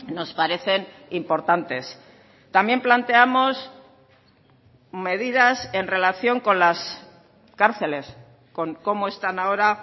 nos parecen importantes también planteamos medidas en relación con las cárceles con cómo están ahora